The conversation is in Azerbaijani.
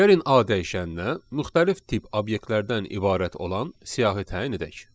Gəlin A dəyişəninə müxtəlif tip obyektlərdən ibarət olan siyahı təyin edək.